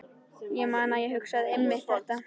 Ég man að ég hugsaði einmitt þetta.